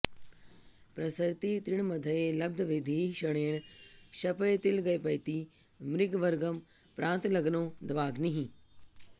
प्रसरति तृणमध्ये लब्धवृद्धिः क्षणेन क्षपयतिग्लपयति मृगवर्गं प्रान्तलग्नो दवाग्निः